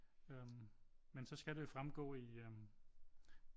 Øh men så skal det jo fremgå i øh